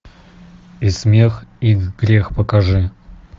и смех и грех покажи